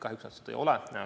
Kahjuks nad seda saanud ei ole.